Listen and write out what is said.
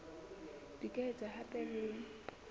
di ka etswa hape le